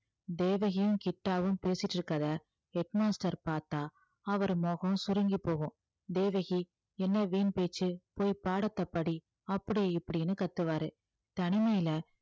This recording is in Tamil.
தேவகியும் கிட்டாவும் பேசிட்டு இருக்கிறதை head master பார்த்தா அவர் முகம் சுருங்கி போகும் தேவகி என்ன வீண் பேச்சு போய் பாடத்தைப் படி அப்படி இப்படின்னு கத்துவாரு தனிமையில